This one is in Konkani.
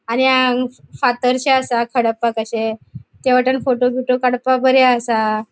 आणि हांगा फातरशे आसा खडप्पाकशे त्या वाटेन फोटो बीटों काड़पाक बरे आसा.